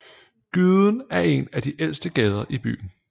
Gyden er en af de ældste gader i byen